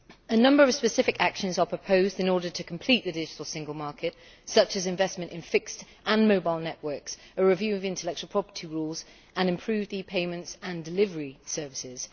A number of specific actions are proposed in order to complete the digital single market, such as investment in fixed and mobile networks, a review of the intellectual property rules and improved e payment and delivery services.